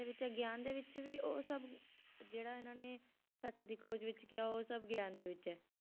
ਵਿੱਚ ਗਿਆਨ ਦੇ ਵਿੱਚ ਵੀ ਉਹ ਸਭ ਜਿਹੜਾ ਇਹਨਾਂ ਨੇ ਸੱਚ ਦੀ ਖੋਜ ਵਿੱਚ ਕਿਹਾ ਉਹ ਸਭ ਗਿਆਨ ਦੇ ਵਿੱਚ ਹੈ।